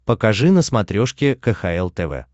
покажи на смотрешке кхл тв